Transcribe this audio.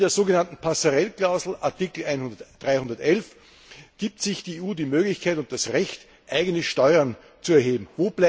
In der so genannten Passerelle Klausel, Artikel 311, gibt sich die EU die Möglichkeit und das Recht, eigene Steuern zu erheben.